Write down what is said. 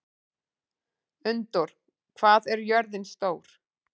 Unndór, hvað er jörðin stór?